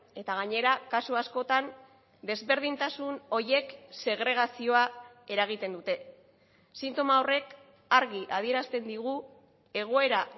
eta gainera kasu askotan desberdintasun horiek segregazioa eragiten dute sintoma horrek argi adierazten digu egoera